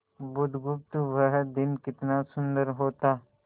बुधगुप्त वह दिन कितना सुंदर होता